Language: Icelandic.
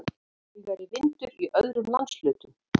Hægari vindur í öðrum landshlutum